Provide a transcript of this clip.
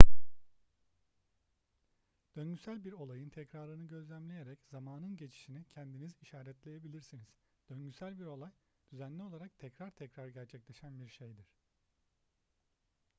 döngüsel bir olayın tekrarını gözlemleyerek zamanın geçişini kendiniz işaretleyebilirsiniz döngüsel bir olay düzenli olarak tekrar tekrar gerçekleşen bir şeydir